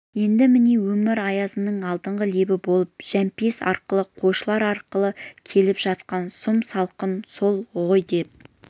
енді міне өмір аязының алдыңғы лебі болып жәмпейіс арқылы қойшылар арқылы келіп жатқан сұм салқын сол ғой деп